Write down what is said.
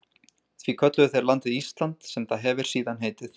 Því kölluðu þeir landið Ísland, sem það hefir síðan heitið.